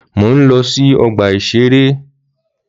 Mò ń lọ sí ọgbà-ìṣeré